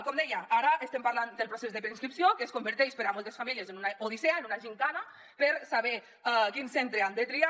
com deia ara estem parlant del procés de preinscripció que es converteix per a moltes famílies en una odissea en una gimcana per saber quin centre han de triar